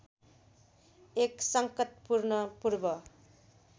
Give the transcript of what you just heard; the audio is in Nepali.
एक संकटपूर्ण पूर्व